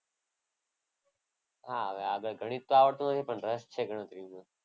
હા હવે ગણિત તો આવડતું નથી પણ રસ છે ગણતરીનું.